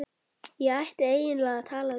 Ég ætti eiginlega að tala við